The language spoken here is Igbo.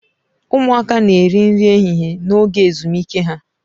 Ụmụaka na-eri nri ehihie n'oge ezumike ha.